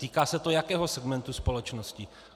Týká se to jakého segmentu společnosti?